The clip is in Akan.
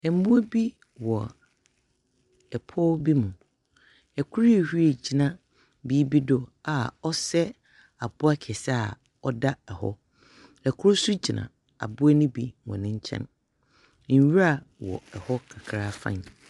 Mbowa bi wɔ pɔw bi mu, kor ehuruw egyina biribi do a ɔsɛ abowa kɛse a ɔda hɔ, kor so gyina abowa ne bi hɔn nkyɛn, nwura wɔ hɔ kakra araa fann.